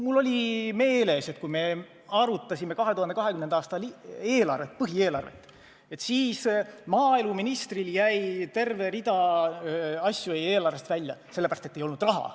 Mul oli meeles, et kui me arutasime 2020. aasta põhieelarvet, et siis maaeluministril jäi terve rida asju eelarvest välja, sellepärast et ei olnud raha.